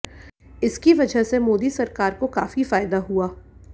इसकी वजह से मोदी सरकार को काफी फायदा हुआ